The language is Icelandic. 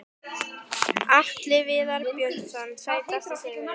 Atli Viðar Björnsson Sætasti sigurinn?